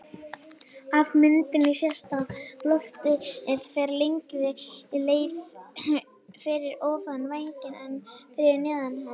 Af myndinni sést að loftið fer lengri leið fyrir ofan vænginn en fyrir neðan hann.